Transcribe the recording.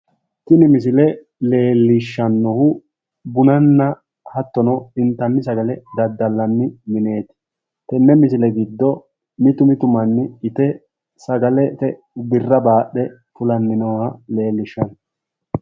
Tini misile leellishannohu bunanna hattono intanni sagale daddallanni mineeti, tenne misile giddo mitu mitu manni sagale ite birra baaxxe fulanni nooha leellishshanno.